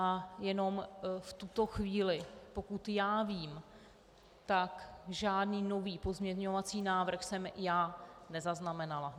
A jenom v tuto chvíli, pokud já vím, tak žádný nový pozměňovací návrh jsem já nezaznamenala.